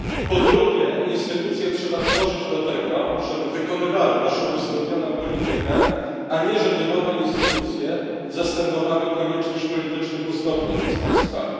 Po drugie, instytucje trzeba tworzyć do tego, żeby wykonywały naszą uzgodnioną politykę, a nie żeby nowe instytucje zastępowały konieczność politycznych uzgodnień między państwami.